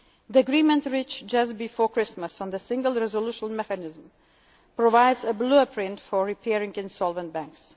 Banking Union. The agreement reached just before Christmas on the Single Resolution Mechanism provides a blueprint for repairing